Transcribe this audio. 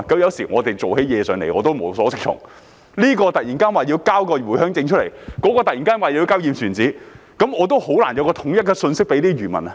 有時候我們辦事情也無所適從，這邊突然要求遞交回鄉證，那邊突然要求遞交"驗船紙"，我也難以有統一的信息給予漁民。